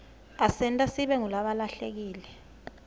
asenta sibe ngulabahlelekile